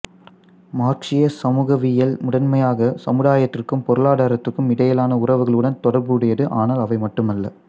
மார்க்சிய சமூகவியல் முதன்மையாக சமுதாயத்திற்கும் பொருளாதாரத்திற்கும் இடையிலான உறவுகளுடன் தொடர்புடையது ஆனால் அவை மட்டுமல்ல